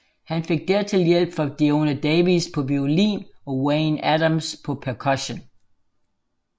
Han fik dertil hjælp fra Diona Davies på violin og Wayne Adams på percussion